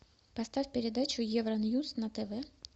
поставь передачу евроньюс на тв